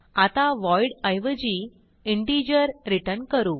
आता व्हॉइड ऐवजी integer return करू